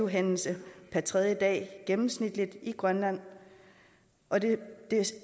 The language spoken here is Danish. hændelse per tredje dag gennemsnitligt i grønland og det